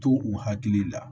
To u hakili la